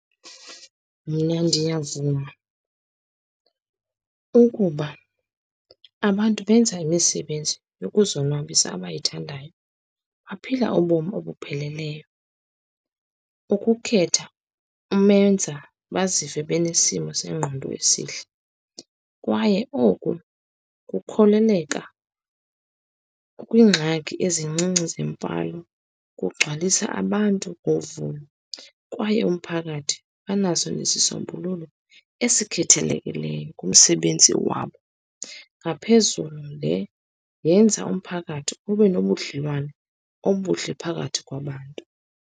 Mna ndiyavuma ukuba abantu benza imisebenzi yokuzonwabisa abayithandayo, baphila ubomi obupheleleyo. Ukukhetha umenza bazive benesimo sengqondo esihle, kwaye oku kukholeleka kwingxaki ezincinci zemfalo. Kugcwalisa abantu ngovuyo, kwaye umphakathi banaso nesisombululo esikhethelekileyo kumsebenzi wabo. Ngaphezulu le yenza umphakathi ube nobudlelwane obuhle phakathi kwabantu.